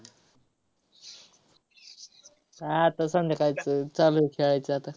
हा, आता संध्याकाळचं चालू होईल खेळायचं आता.